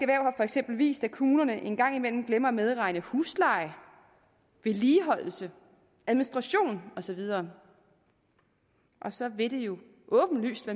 eksempel vist at kommunerne en gang imellem glemmer at medregne husleje vedligeholdelse administration og så videre og så vil det jo åbenlyst